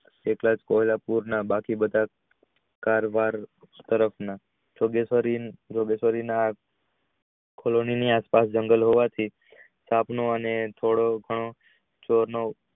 કેટલા કે પૂર ના બાકી બધા કારવાર તરફ ના આસપાસ જંગલ હોવાથી આપણું અને